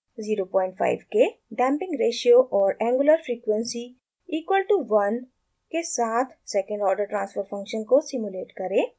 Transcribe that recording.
05 के damping ratio और angular frequency equal to 1 के साथ second order transfer function को सिमुलेट करें